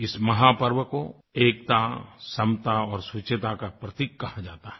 इस महापर्व को एकता समता और शुचिता का प्रतीक कहा जाता है